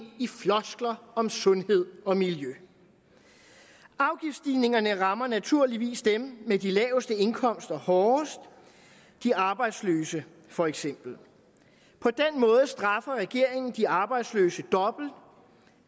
i floskler om sundhed og miljø afgiftsstigningerne rammer naturligvis dem med de laveste indkomster hårdest de arbejdsløse for eksempel på den måde straffer regeringen de arbejdsløse dobbelt